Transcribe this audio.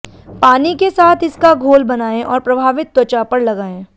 पानी के साथ इसका घोल बनायें और प्रभावित त्वचा पर लगायें